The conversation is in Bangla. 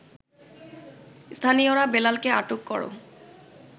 স্থানীয়রা বেলালকে আটক কর